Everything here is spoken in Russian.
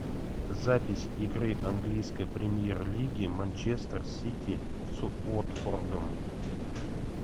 запись игры английской премьер лиги манчестер сити с уотфордом